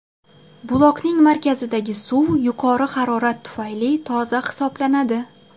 Buloqning markazidagi suv yuqori harorat tufayli toza hisoblanadi.